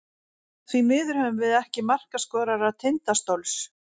Því miður höfum við ekki markaskorara Tindastóls.